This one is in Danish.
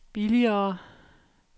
billigere